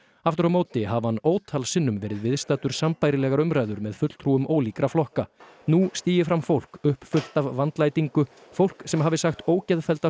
aftur á móti hafi hann ótal sinnum verið viðstaddur sambærilegar umræður með fulltrúum ólíkra flokka nú stígi fram fólk uppfullt af vandlætingu fólk sem hafi sagt ógeðfellda